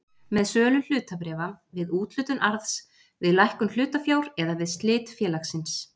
með sölu hlutabréfa, við úthlutun arðs, við lækkun hlutafjár eða við slit félagsins.